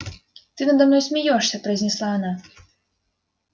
ты надо мной смеёшься произнесла она